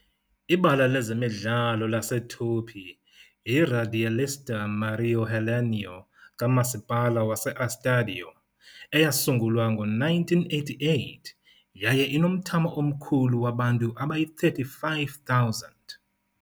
Ibala lezemidlalo laseTupi yiRadialista Mário Helênio kaMasipala waseEstádio, eyasungulwa ngo-1988, yaye inomthamo omkhulu wabantu abangama-35,000.